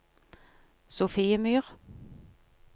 Sofiemyr